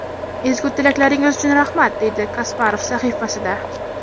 Ezgu tilaklaringiz uchun rahmat”, deydi Kasparov sahifasida.